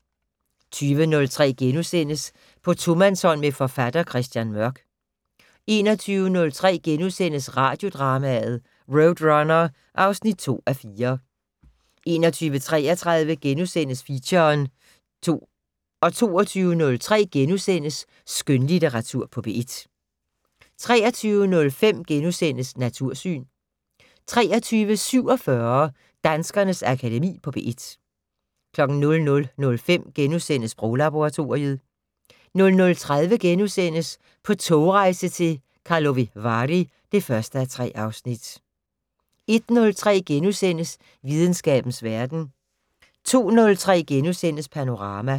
20:03: På tomandshånd med forfatter Christian Mørk * 21:03: Radiodrama: RoadRunner (2:4)* 21:33: Feature * 22:03: Skønlitteratur på P1 * 23:05: Natursyn * 23:47: Danskernes Akademi på P1 00:05: Sproglaboratoriet * 00:30: På togrejse til Karlovy Vary (1:3)* 01:03: Videnskabens Verden * 02:03: Panorama *